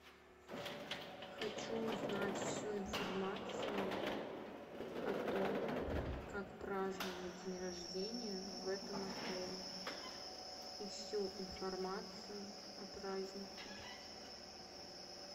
хочу узнать всю информацию о том как праздновать день рождения в этом отеле и всю информацию о празднике